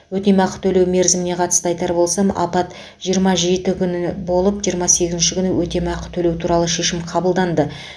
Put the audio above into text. өтемақы төлеу мерзіміне қатысты айтар болсам апат жиырма жеті күні болып жиырма сегізінші күні өтемақы төлеу туралы шешім қабылданды